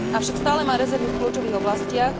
Avšak stále má rezervy v kľúčových oblastiach.